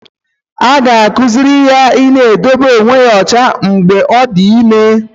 A ga-akụziri ya I na-edobe onwe ya ọcha mgbe ọ dị ime.